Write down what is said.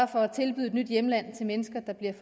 for at tilbyde et nyt hjemland til mennesker der bliver